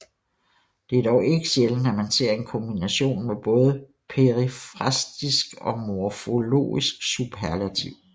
Det er dog ikke sjældent at man ser en kombination med både perifrastisk og morforlogisk superlativ